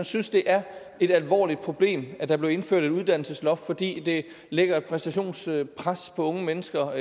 synes det er et alvorligt problem at der blev indført et uddannelsesloft fordi det lægger et præstationspres på unge mennesker